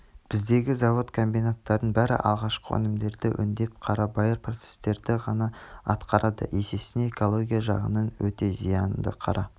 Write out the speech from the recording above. біздегі завод-комбинаттардың бәрі алғашқы өнімдерді өңдеп қарабайыр процесстерді ғана атқарады есесіне экология жағынан өте зиянды қара